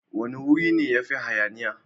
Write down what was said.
Wane wuri ne yafi hayaniya?